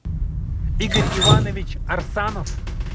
игорь иванович арсанов